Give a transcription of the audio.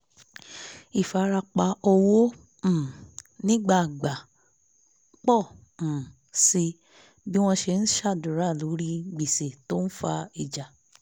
ìfarapa owó um nígbàgbà pọ̀ um síi bí wọ́n ṣe ń ṣàdúrà lórí gbèsè tó ń fa ìjà